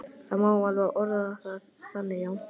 Það má alveg orða það þannig, já.